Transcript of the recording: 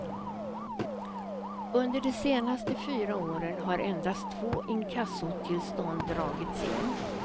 Under de senaste fyra åren har endast två inkassotillstånd dragits in.